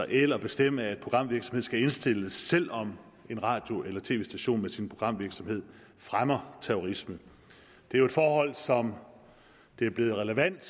eller bestemme at programvirksomhed skal indstilles selv om en radio eller tv station med sin programvirksomhed fremmer terrorisme det er jo et forhold som det er blevet relevant